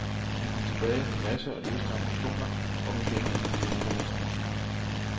Han kom tilbage med masser af lyst og ambitioner om igen at blive europamester.